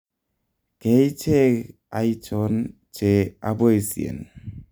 keeicheg aichon che aboisyen?